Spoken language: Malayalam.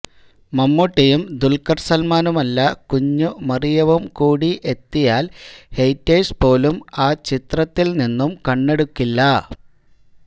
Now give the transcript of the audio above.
മമ്മൂട്ടിയും ദുല്ഖര് സല്മാനുമല്ല കുഞ്ഞുമറിയവും കൂടി എത്തിയാല് ഹേറ്റേഴ്സ് പോലും ആ ചിത്രത്തില് നിന്നും കണ്ണെടുക്കില്ല